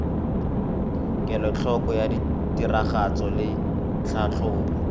kelotlhoko ya tiragatso le tlhatlhobo